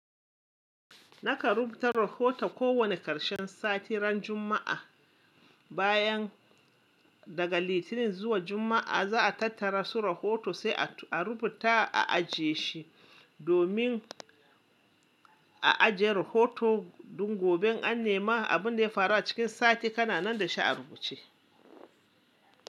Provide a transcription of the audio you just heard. Naka rubuta rahoto ko wane ƙarshen sati ran Juma'a. Bayan daga Litinin zuwa Juma'a, za'a tattara su rahoto sai a rubuta a'aje shi. Domin a je rahoto duk gobe an nema abin da ya faru a cikin sati kananan da shi a rubuce.